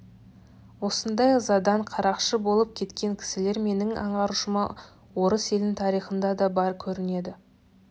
осындай ызадан қарақшы болып кеткен кісілер менің аңғаруымша орыс елінің тарихында да бар көрінеді